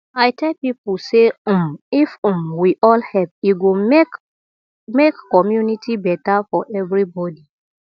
i tell people say um if um we all help e go make make community better for everybody